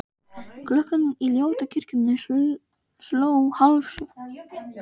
Klukkan í ljótu kirkjunni sló hálfsjö.